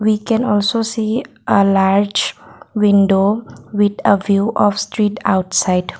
we can also see a large window with a view of street outside.